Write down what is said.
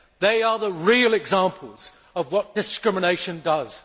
They are the real examples of what discrimination does.